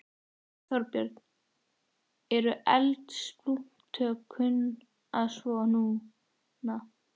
Þorbjörn: Eru eldsupptök kunn að svo. núna?